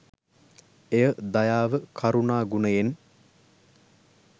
එය දයාව කරුණා ගුණයෙන්